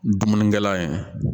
Dumunikɛla ye